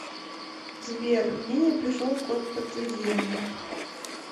сбер мне не пришел код подтверждения